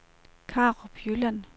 Karup Jylland